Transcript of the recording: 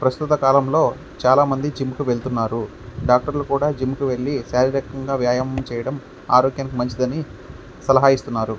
ప్రస్తుత కలం లో చాల మంది జిం కి వెళ్తున్నారు డాక్టర్లు కూడా శారీరకంగా వ్యాయామం చేయడం ఆరోగ్యానికి మంచిదని సలహా ఇస్తున్నారు .